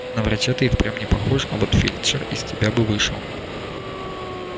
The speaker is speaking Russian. на врача ты и впрямь не похож а вот фельдшер из тебя бы вышел